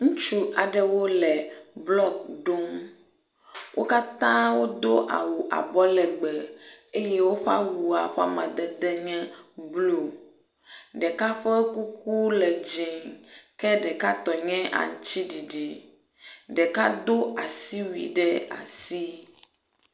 Ŋutsu aɖewo le blɔk ɖom. Wo katã wodo awu abɔlegbe eye woƒe awua ƒe amadede nye blɔ. Ɖeka ƒe kuku le dzie ke ɖeka tɔ nye aŋtsiɖiɖi. Ɖeka do asiwui ɖe asi.